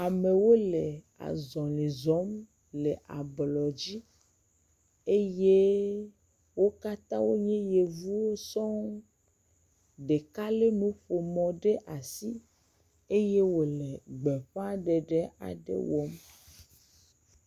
amewo le azɔli zɔm le ablɔ dzi eye wókatã wonye yevuwo sɔŋ ɖeka le nuƒomɔ ɖe asi eye wòle gbeƒaɖeɖe aɖe wɔm